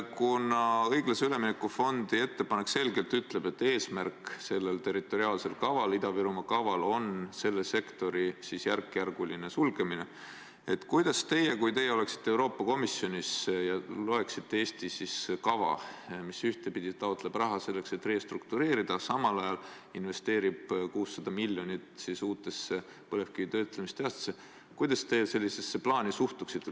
Kuna õiglase ülemineku fondi ettepanek ütleb selgelt, et selle territoriaalse kava, Ida-Virumaa kava eesmärk on selle sektori järkjärguline sulgemine, siis kui teie oleksite Euroopa Komisjonis ja loeksite Eesti kava, mis ühtepidi taotleb raha selleks, et restruktureerida, ja samal ajal investeerib 600 miljonit uutesse põlevkivitöötlemistehastesse, kuidas te sellisesse plaani suhtuksite?